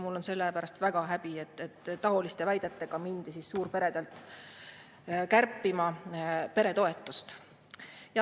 Mul on selle pärast väga häbi, et taoliste väidetega mindi suurperede toetust kärpima.